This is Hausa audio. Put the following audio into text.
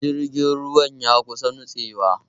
Jirgin ruwan ya kusa nitsewa